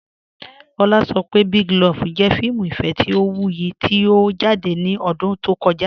Ọ̀lá sọ̀ pé Big Love jẹ̀ fíìmù ìfẹ̀ tí ó wúyì tí ó jáde ní ọ̀dún tó kọ̀jà.